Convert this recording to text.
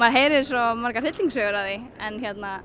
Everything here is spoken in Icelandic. heyrir svo margar hryllingssögur af því en